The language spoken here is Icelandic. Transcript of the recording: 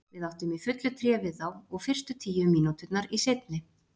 Við áttum í fullu tré við þá, og fyrstu tíu mínúturnar í seinni.